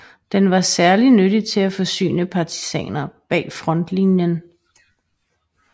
Den var særligt nyttig til at forsyne partisaner bag frontlinien